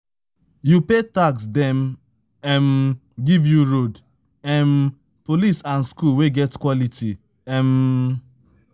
You pay tax dem give you road, police and school wey get